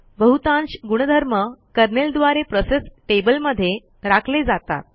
बहुतांश गुणधर्म कर्नेल द्वारे प्रोसेस टेबलमध्ये राखले जातात